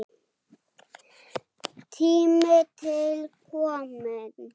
Tími til kominn.